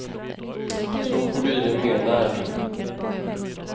Så får du i dig mer näring.